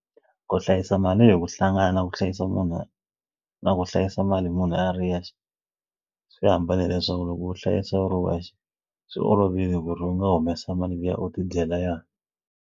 Ku hlayisa mali hi ku hlangana na ku hlayisa munhu na ku hlayisa mali munhu a ri yexe swi hambane hileswaku loko u hlayisa u ri wexe swi olovile ku ri u nga humesa mali liya u ti dyela yona.